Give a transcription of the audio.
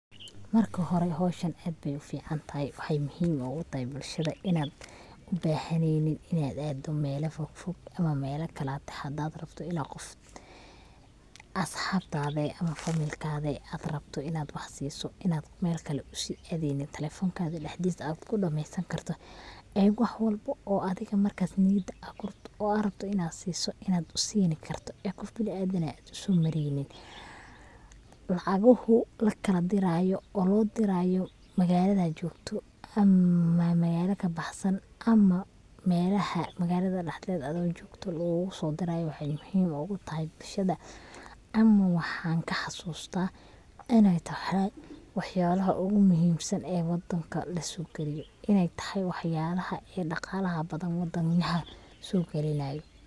Marka hore howshan aad Bay uficantahay waxay muhiim ogu tahay bulshada inad ubahaneynin inad aado mela fogfog ama mela kalate hadad rabto inad qof asxabtade ama familkade ad rabto inad wax siiso inad Mel kale usii aadeynin talefoonkaga dhaxdiis ad kudhameesan karto ee wax walbo oo adiga markas ad niyada kuhayso oo ad rabto inad siiso inad usini karto qof bini adan inad usoomareynin, lacaguhu lakala dirayo oo loo dirayo magaaladad jogto ama magaala kabaxsan melaha magaalada dhaxdeed aado jogto luguguso dirayo waxay muhiim ogu tahay bulshada ama waxan kaxasuusta inay tahay wax yalaha ogu muhiimsan ee wadanka lasoo geliyo inay tahay wax yalaha ee dhaqalaha badan ee wadanka soo gelinayo